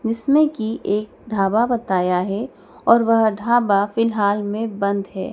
जिसमें की एक ढाबा बताया है और वह ढाबा फिलहाल में बंद है।